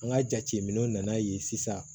An ka jateminɛw nana yen sisan